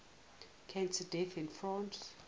cancer deaths in france